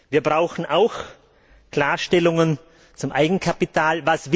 Wir brauchen auch Klarstellungen zum Eigenkapital.